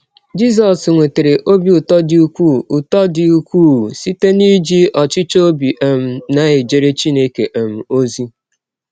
Jisọs nwetara ọbi ụtọ dị ụkwụụ ụtọ dị ụkwụụ site n’iji ọchịchọ ọbi um na - ejere Chineke um ọzi.